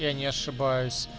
я не ошибаюсь